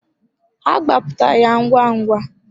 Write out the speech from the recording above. Ha gbapụta ya ngwa ngwa.